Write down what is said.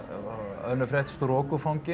önnur frétt